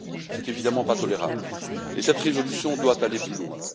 Ce n'est évidemment pas tolérable et cette résolution doit aller plus loin.